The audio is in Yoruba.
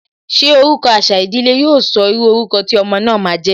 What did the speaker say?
Ṣé orúkọ àṣà ìdílé, yo sọ írú orúkọ tí ọmọ náà ma jẹ́?